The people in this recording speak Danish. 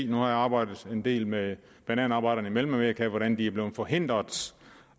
nu har jeg arbejdet en del med bananarbejderne i mellemamerika hvordan de er blevet forhindret